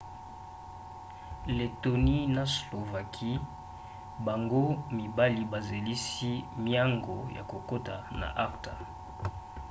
lettonie na slovaquie bango mibali bazelisi miango ya kokota na acta